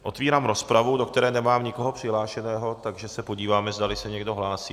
Otevírám rozpravu, do které nemám nikoho přihlášeného, takže se podívám, zdali se někdo hlásí.